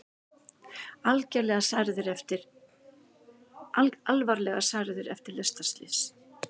Alvarlega særðir eftir lestarslys